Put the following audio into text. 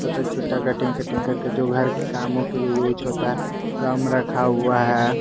छोटा छोटा cutting cutting करके जो घर के कामों के लिए यूस होता है गम रखा हुआ है।